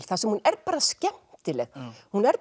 þar sem hún er bara skemmtileg hún er